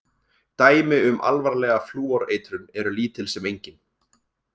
Dæmi um alvarlega flúoreitrun eru lítil sem engin.